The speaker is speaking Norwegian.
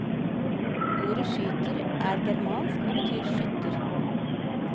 Ordet skyter er germansk og betyr skytter.